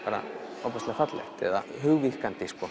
ofboðslega fallegt eða